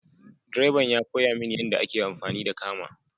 Direban ya koya mini yadda ake amfani da kama.